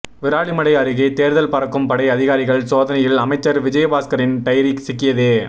விராலிமலை அருகே தேர்தல் பறக்கும் படை அதிகாரிகள் சோதனையில் அமைச்சர் விஜயபாஸ்கரின் டைரி சிக்கியது